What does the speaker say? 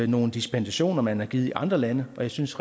nogle dispensationer man har givet i andre lande og jeg synes